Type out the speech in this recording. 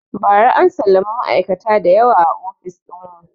Ba ra an salami ma'aikata da yawa a ofis ɗin mu